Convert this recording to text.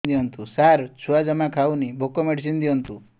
ସାର ଛୁଆ ଜମା ଖାଉନି ଭୋକ ମେଡିସିନ ଦିଅନ୍ତୁ